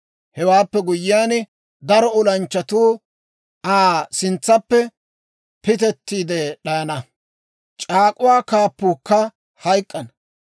Hewaappe guyyiyaan, daro olanchchatuu Aa sintsappe pitettiide d'ayana; c'aak'uwaa kaappuukka hayk'k'ana.